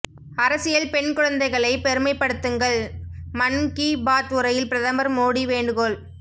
அரசியல் பெண் குழந்தைகளை பெருமைப்படுத்துங்கள் மன் கி பாத் உரையில் பிரதமர் மோடி வேண்டுகோள்